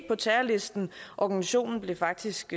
på terrorlisten og organisationen blev faktisk